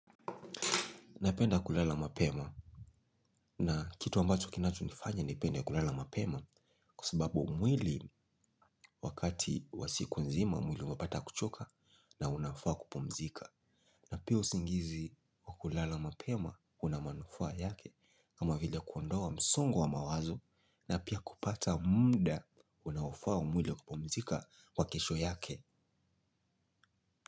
Napenda kulala mapema. Na kitu ambacho kinacho nifanya nipende kulala mapema kwa sababu mwili wakati wa siku nzima mwili umepata kuchoka na unafaa kupumzika. Na pia usingizi wa kulala mapema una manufaa yake kama vile kuondoa msongo wa mawazo na pia kupata muda unaofaa mwili kupumzika kwa kesho yake.